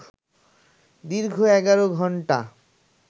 দীর্ঘ ১১ ঘণ্টা